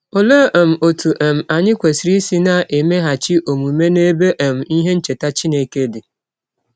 Ọlee um ọtụ um anyị kwesịrị isi na - emeghachi ọmụme n’ebe um ihe ncheta Chineke dị?